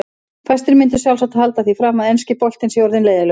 Fæstir myndu sjálfsagt halda því fram að enski boltinn sé orðinn leiðinlegur.